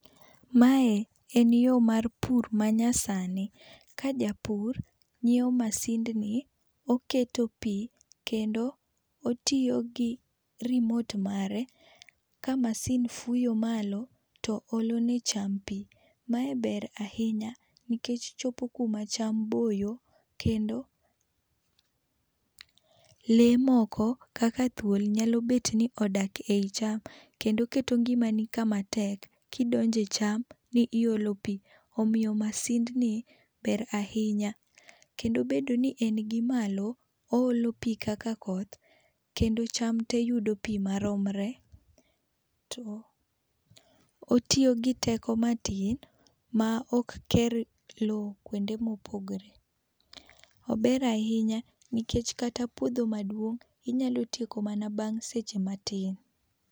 Mae en yo mar pur ma nyasani ka japur ng'ewo masindni oketo pi kendo otiyo gi remote mare ka masin fuyo malo to olo ne cham pi ma ber ahinya nikech chopo ku ma cham boyo kendo lee moko kaka thuol nyalo bet ni odak e cham kendo keto ngima ni ka matek ki idonjo e cham ni iolo pi omiyo masin ni ber ahinya, kendo bedo ni en gi malo oolo pi kaka koth kendo cham te yudo pi maromre, to otiyo gi teko matin ma ok ker loo kuonde ma opogore .Ober ahinya nikech katabpuodho maduong inya tieko bang seche matin.